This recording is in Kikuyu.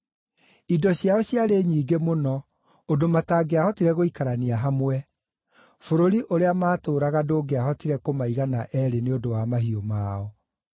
Indo ciao ciarĩ nyingĩ mũno ũndũ matangĩahotire gũikarania hamwe; bũrũri ũrĩa maatũũraga ndũngĩahotire kũmaigana eerĩ nĩ ũndũ wa mahiũ mao.